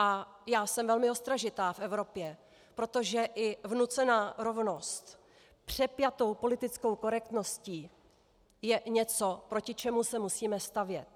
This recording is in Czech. A já jsem velmi ostražitá v Evropě, protože i vnucená rovnost přepjatou politickou korektností je něco, proti čemu se musíme stavět.